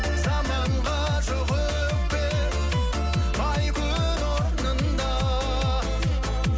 заманға жоқ өкпе ай күн орнында